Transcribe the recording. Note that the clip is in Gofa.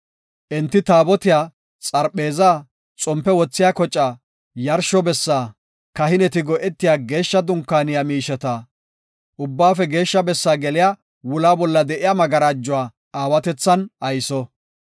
Enti Taabotiya, xarpheeza, xompe wothiya kocaa, yarshsho bessaa, kahineti go7etiya Geeshsha Dunkaaniya miisheta, Ubbaafe Geeshsha Bessaa geliya wula bolla de7iya magarajuwa aawatethan ayso.